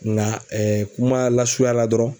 Nka kuma lasurunya la dɔrɔn.